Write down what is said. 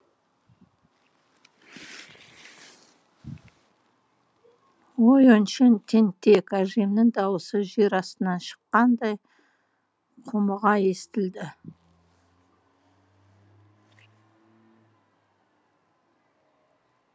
өй өңшең тентек әжемнің дауысы жер астынан шыққандай құмыға естілді